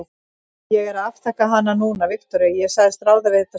Ég er að afþakka hana núna, Viktoría, ég sagðist ráða við þetta sjálf.